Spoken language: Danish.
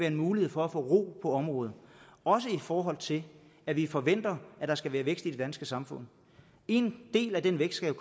en mulighed for at få ro på området også i forhold til at vi forventer at der skal være vækst i det danske samfund en del af den vækst skal